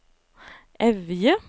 Evje